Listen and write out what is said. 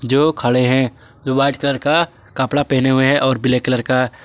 जो खड़े है जो वाइट कलर का कपड़ा पहने हुए है और ब्लैक कलर का।